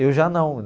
Eu já não.